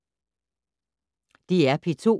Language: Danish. DR P2